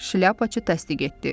Şlyapaçı təsdiq etdi.